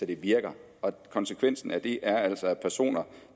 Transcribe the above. der virker og konsekvensen af det er altså at personer